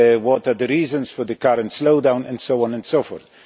What are the reasons for the current slowdown? And so on and so forth.